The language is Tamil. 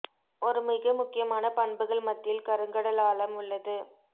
ஒரு மிக முக்கியமான பண்புகள் மத்தியில் கருங்கடல் ஆழம் உள்ளது